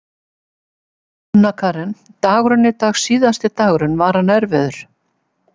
Sunna Karen: Dagurinn í dag síðasti dagurinn, var hann erfiður?